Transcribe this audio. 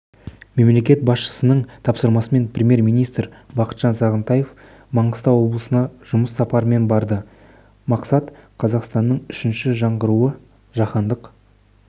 мемлекет басшысының тапсырмасымен премьер-министр бақытжан сағынтаев маңғыстау облысына жұмыс сапарымен барды мақсат қазақстанның үшінші жаңғыруы жаһандық